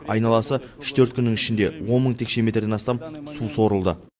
айналасы үш төрт күннің ішінде он мың текше метрден астам су сорылды